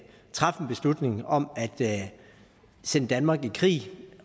træffe en beslutning om at sende danmark i krig